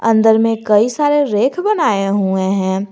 अंदर में कई सारे रैक बनाए हुए हैं।